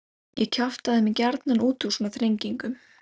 Ég kjaftaði mig gjarnan út úr svona þrengingum.